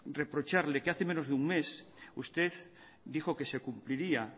reprocharle que hace menos de un mes usted dijo que se cumpliría